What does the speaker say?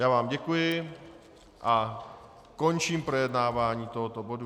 Já vám děkuji a končím projednávání tohoto bodu.